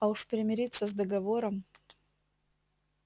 а уж примириться с договором